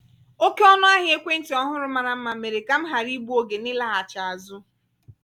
oke ọnụ ahịa ekwentị ọhụrụ mara mma mere ka m ghara igbu oge n'ịlaghachi azụ.